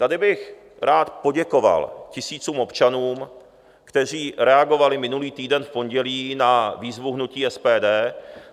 Tady bych rád poděkoval tisícům občanů, kteří reagovali minulý týden v pondělí na výzvu hnutí SPD.